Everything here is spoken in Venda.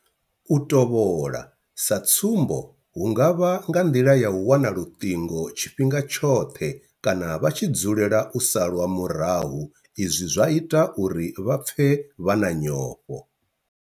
U tovhola, sa tsumbo hu nga vha nga nḓila ya u wana luṱingo tshifhinga tshoṱhe kana vha tshi dzulela u salwa murahu izwi zwa ita uri vha pfe vha na nyofho.